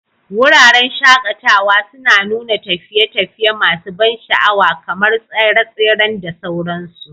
Wuraren shaƙatawa suna nuna tafiye-tafiye masu ban sha'awa kamar tseren tsere da sauransu.